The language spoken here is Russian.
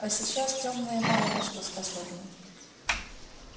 а сейчас тёмные мало на что способны